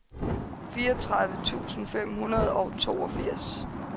fireogtredive tusind fem hundrede og toogfirs